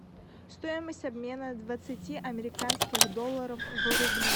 стоимость обмена двадцати американских долларов в рубли